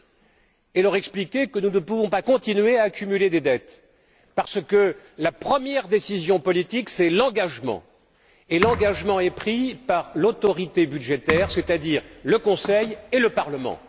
Je souhaite leur expliquer que nous ne pouvons pas continuer à accumuler des dettes parce que la première décision politique, c'est l'engagement, et que l'engagement est pris par l'autorité budgétaire, c'est à dire le Conseil et le Parlement.